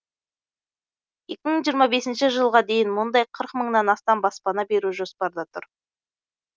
екі мың жиырма бесінші жылға дейін мұндай қырық мыңнан астам баспана беру жоспарда тұр